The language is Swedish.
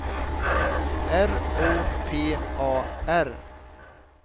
R O P A R